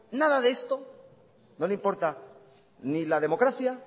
nada de esto no le importa ni la democracia